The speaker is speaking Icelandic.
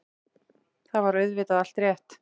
Þar var auðvitað allt rétt.